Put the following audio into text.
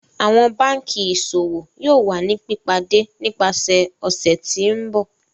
Awọn banki Iṣowo yoo wa ni pipade nipasẹ ọsẹ ti n bọ.